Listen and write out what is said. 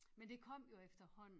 Men det kom jo efterhånden